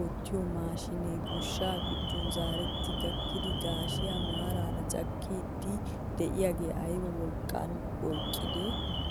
oottiyoo mashinee gooshshaa giddon zeretti gakkida gashshiyaa maarara cakkiidi de'iyaagee ayba wolqqaa oyqqidee!